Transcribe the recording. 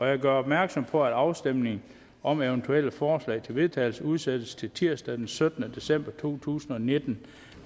jeg gør opmærksom på at afstemning om eventuelle forslag til vedtagelse udsættes til tirsdag den syttende december to tusind og nitten